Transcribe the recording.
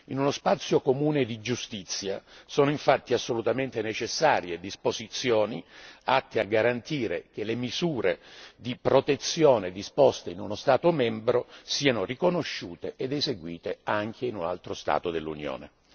In uno spazio comune di giustizia sono infatti assolutamente necessarie disposizioni atte a garantire che le misure di protezione disposte in uno Stato membro siano riconosciute ed eseguite anche in un altro Stato dell'Unione.